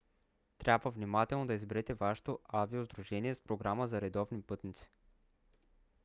трябва внимателно да изберете вашето авиосдружение с програма за редовни пътници